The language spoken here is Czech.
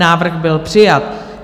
Návrh byl přijat.